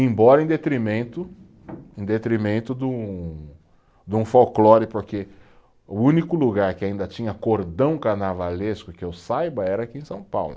Embora em detrimento, em detrimento de um, de um folclore, porque o único lugar que ainda tinha cordão carnavalesco, que eu saiba, era aqui em São Paulo.